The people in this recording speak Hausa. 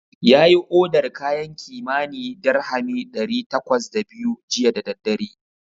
Yayi odar kayan kimanin dirhami ɗari takwas da biyu jiya da daddare.